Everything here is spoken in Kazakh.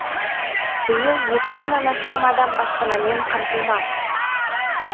биыл екі мыңнан астам адам баспанамен қамтылмақ